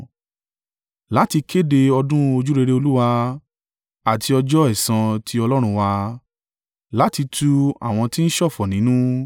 láti kéde ọdún ojúrere Olúwa àti ọjọ́ ẹ̀san ti Ọlọ́run wa, láti tu àwọn tí ń ṣọ̀fọ̀ nínú,